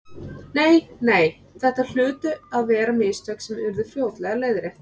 Nei, nei, þetta hlutu að vera mistök sem yrðu fljótlega leiðrétt.